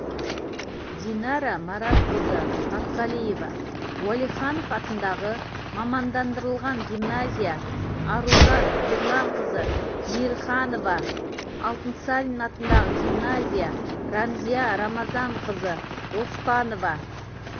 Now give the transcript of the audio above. динара маратқызы матқалиева уалиханов атындағы мамандандырылған гимназия аружан ерланқызы мейірханова алтынсарин атындағы гимназия рамзия рамазанқызы оспанова